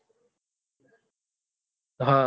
હ